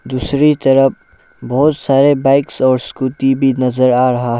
दूसरी तरफ बहुत सारे बाइक्स और स्कूटी भी नजर आ रहा है।